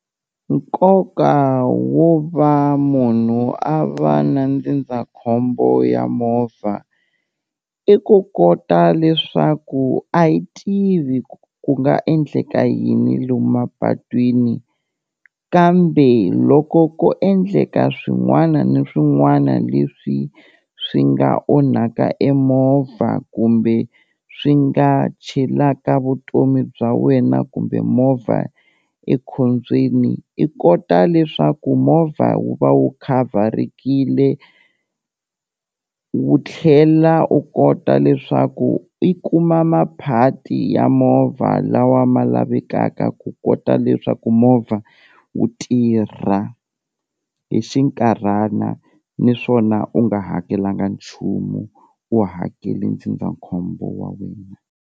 Nkoka wo va munhu a va na ndzindzakhombo ya movha i ku kota leswaku a hi tivi ku nga endleka yini lomu mapatwini kambe loko ko endleka swin'wana ni swin'wana leswi swi nga onhaka e movha kumbe swi nga chelaka vutomi bya wena kumbe movha ekhombyeni, i kota leswaku movha wu va wu khavharekile tekile wu tlhela u kota leswaku i kuma maphati ya movha lawa wa ma lavekaka ku kota leswaku movha wu tirha hi xinkarhana niswona u nga hakelanga nchumu u hakele ndzindzakhombo wa wena.